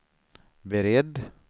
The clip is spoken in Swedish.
beredd